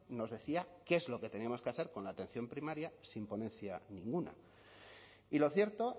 nos decía qué es lo que teníamos que hacer con la atención primaria sin ponencia ninguna y lo cierto